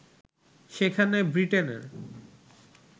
সেখানে বৃটেনের